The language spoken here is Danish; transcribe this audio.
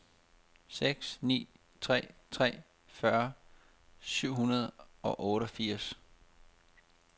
seks ni tre tre fyrre syv hundrede og otteogfirs